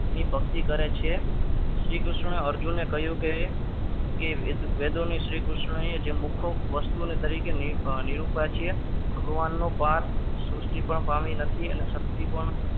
મી ભક્તિ કરે છે શ્રીકૃષ્ણએ અર્જુનને કહ્યું કે એ વેદોની શ્રીકૃષ્ણએ જે મુકો ની વસ્તુ તરીકે નિરૂપા છે ભગવાનનો પાર સૃષ્ટિ પણ પામી નથી અને શક્તિ પણ